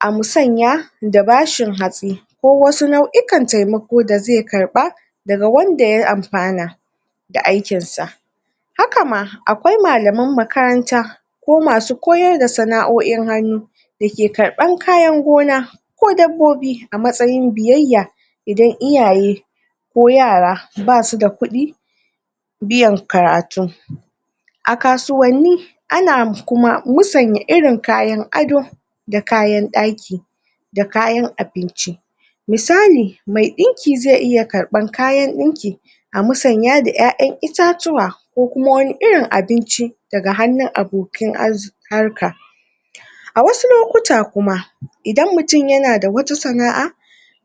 a mutsanya da bashin hatsi ko wasu nauyuka taimako da ze karba da ga wanda ya amfana da aikin sa. Haka ma, akwai mallamai makaranta ko masu koyar da sanaoyi hanu da ke karban kayan gona ko dabobi a matsayin biyayya idan iyaye ko yara ba su da kudi biyan karatu a kasuwani a na kuma musunyi irin kayan addo da kayan daki da kayan abinci musali me dinki ze iya karban kayan dinki a matsanya da ƴaƴan itatuwa ko kuma wani irin abinci da ga hanun abokin harka a wasu lokuta kuma idan mutum ya na da wata sanaa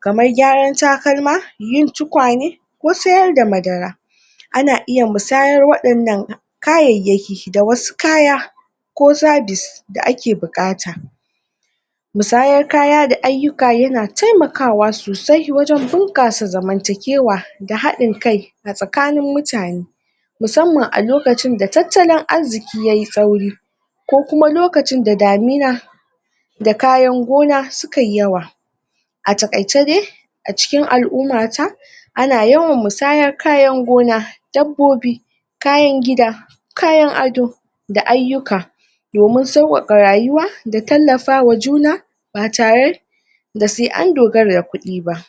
kamar gyaran takalma, yin tukwane ko tsayar da madara a na iya wadannan kayayaki da wasu kaya da ke bukata mutsayar kaya da ayuka ya na taimakawa sosai wajen bunkassa zamantakewa ga hadin kaia tsakanin mutane musamman a lokacin da tatallan arziki yayi sauri ko kuma lokacin da damina da kayan gona su kayi yawa a takaice dai, acikin alumma ta ana yawan mutsayar kayan gona dabobi, kayan gida kayan addo da ayuka domin sawaka rayuwa da tallafa wa juna ba tare da se an dogara kudi ba.